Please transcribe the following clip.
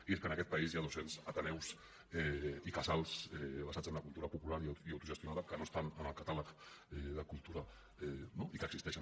i és que en aquest país hi ha dos cents ateneus i casals basats en la cultura popular i autogestionada que no estan en el catàleg de cultura no i que existeixen